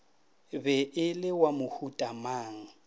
be e le wa mohutamang